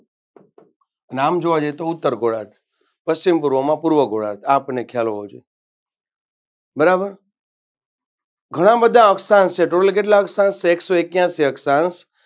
અને આમ જોવા જઈએ તો ઉત્તર ગોળાર્ધ પશ્ચિમ પૂર્વમાં પૂર્વ ગોળાર્ધ આ આપણ ને ખયાલ હોવો જોઈએ.